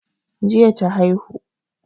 Jiya ta aihu